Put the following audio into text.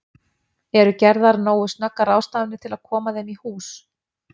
Eru gerðar nógu snöggar ráðstafanir til að koma þeim í hús?